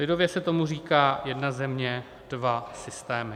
Lidově se tomu říká "jedna země, dva systémy".